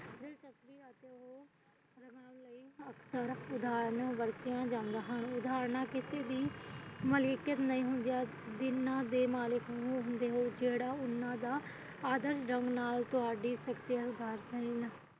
ਉਦਾਹਰਣਾ ਵਰਤੀਆਂ ਜਾਂਦੀਆਂ ਹਨ ਉਦਾਹਰਣਾ ਕਿਤੇ ਵੀ ਨਹੀਂ ਹੁੰਦੀਆਂ ਜਿਹਨਾਂ ਦੇ ਮਲਿਕ ਤੁਹਾਡੀ